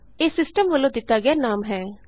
ਇਹ ਸਿਸਟਮ ਵਲੋਂ ਦਿਤਾ ਗਿਆ ਨਾਮ ਹੈ